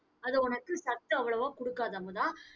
அது உனக்கு சத்து அவ்வளவா குடுக்காது அமுதா